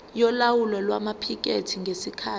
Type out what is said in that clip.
yolawulo lwamaphikethi ngesikhathi